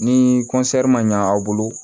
Ni ma ɲa aw bolo